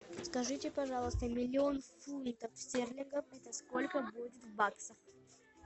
скажите пожалуйста миллион фунтов стерлингов это сколько будет в баксах